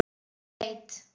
Hver veit!